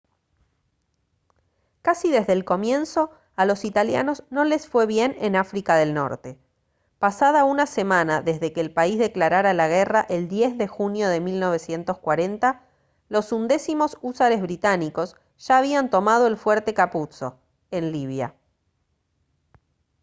casi desde el comienzo a los italianos no les fue bien en áfrica del norte pasada una semana desde que el país declarara la guerra el 10 de junio de 1940 los undécimos húsares británicos ya habían tomado el fuerte capuzzo en libia